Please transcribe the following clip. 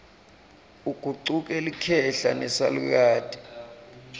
ugucuke likhehla nesalukati